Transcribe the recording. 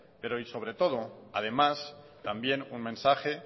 pero y sobre todo además también un mensaje